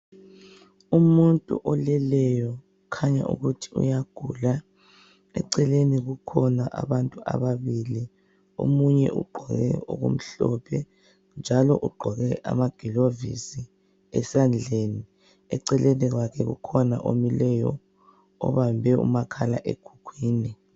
Umuntu oleleyo kukhanya ukuthi uyagula. Eceleni kukhona abantu ababili omunye ugqoke okumhlophe njalo ugqoke amagilovisi esandleni. Eceleni kwakhe ukhona omileyo obambe umakhala ekhukhwini.